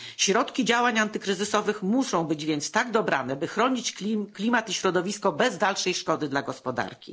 Środki działań antykryzysowych muszą być więc tak dobrane, by chronić klimat i środowisko bez dalszej szkody dla gospodarki.